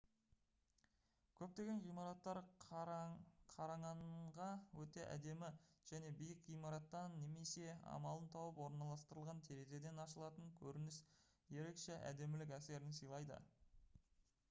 көптеген ғимараттар қараңанңа өте әдемі және биік ғимараттан немесе амалын тауып орналастырылған терезеден ашылатын көрініс ерекше әдемілік әсерін сыйлайды